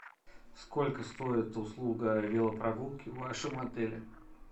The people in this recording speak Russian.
сколько стоит услуга велопрогулки в вашем отеле